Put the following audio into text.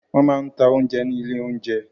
Wọ́n máa ń ta oúnjẹ ní ilé-oúnjẹ.